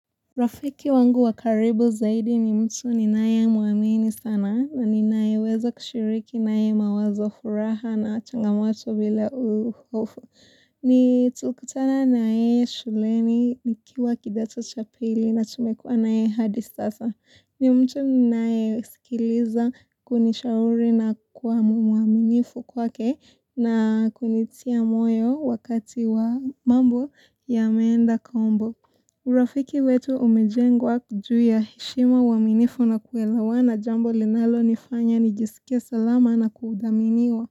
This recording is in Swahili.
Rafiki wangu wakaribu zaidi ni mtu ninaye muamini sana na ninaye weza kushiriki ninaye mawazo furaha na changamoto bila uufu. Ni tulikutana nayeye shuleni nikiwa kidato chapili na tumekuwa naye hadi sasa. Ni mtu ninaye sikiliza kunishauri na kuamumuaminifu kwake na kunitia moyo wakati wa mambo yamenda kombo. Urafiki wetu umejengwa juu ya heshima uaminifu na kuelawana jambo linalo nifanya nijisike salama na kuudhaminiwa.